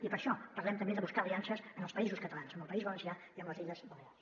i per això parlem també de buscar aliances en els països catalans amb el país valencià i amb les illes balears